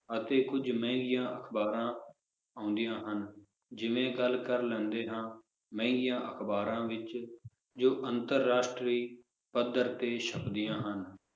ਅਤੇ ਕੁਝ ਮਹਿੰਗੀਆਂ ਅਖਬਾਰਾਂ ਆਉਂਦੀਆਂ ਹਨ ਜਿਵੇ ਗੱਲ ਕਰ ਲੈਂਦੇ ਹਾਂ ਮਹਿੰਗੀਆਂ ਅਖਬਾਰਾਂ ਵਿਚ, ਜੋ ਅੰਤਰ-ਰਾਸ਼ਟਰੀ ਪੱਧਰ ਤੇ ਛਪਦੀਆਂ ਹਨ